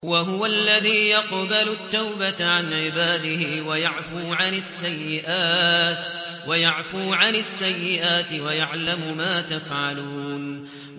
وَهُوَ الَّذِي يَقْبَلُ التَّوْبَةَ عَنْ عِبَادِهِ وَيَعْفُو عَنِ السَّيِّئَاتِ وَيَعْلَمُ مَا تَفْعَلُونَ